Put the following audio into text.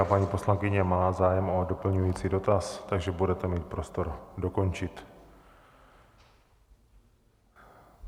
A paní poslankyně má zájem o doplňující dotaz, takže budete mít prostor dokončit.